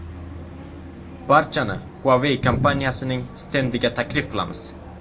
Barchani Huawei kompaniyasining stendiga taklif qilamiz.